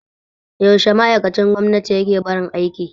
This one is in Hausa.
Yaushe ma'aikacin gwamnati yake barin aiki?